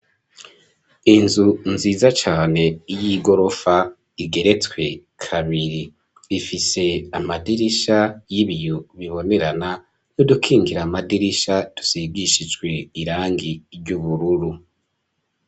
Inzu nziza cane y'igorofa igeretswe kabiri, ifise amadirisha y'ibiyo bibonerana, n'idukingira amadirisha tusigishijwe irangi ry'ubururu.